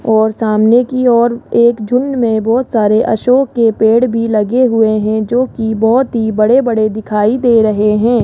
और सामने की ओर एक झुंड में बहोत सारे अशोक के पेड़ भी लगे हुए हैं जोकि बहोत ही बड़े बड़े दिखाई दे रहे हैं।